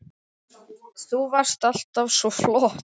Þú varst alltaf svo flott.